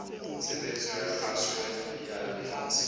tshebeletso ya kgaso ya motse